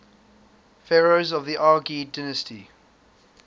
pharaohs of the argead dynasty